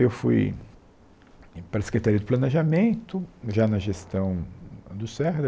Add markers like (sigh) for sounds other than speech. Eu fui para a Secretaria do Planejamento, já na gestão do. (unintelligible)